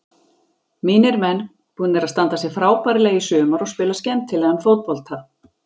Mínir menn búnir að standa sig frábærlega í sumar og spila skemmtilegan fótbolta.